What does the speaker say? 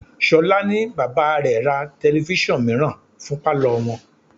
Ṣolá ní bàbá rẹ̀ ra telifísàn mìíràn fún palo wọn.